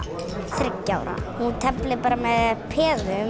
þriggja ára þú teflir bara með peðum og